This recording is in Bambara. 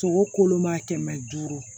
Sogo kolo ma kɛmɛ duuru